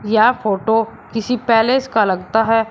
यह फोटो किसी पैलेस का लगता है।